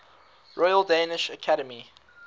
royal danish academy